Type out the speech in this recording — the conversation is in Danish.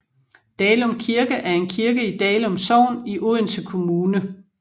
Dalum Kirke er en kirke i Dalum Sogn i Odense Kommune